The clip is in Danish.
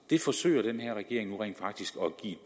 det forsøger den her regering rent faktisk